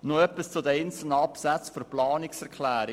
Noch etwas zu den einzelnen Absätzen der Planungserklärung.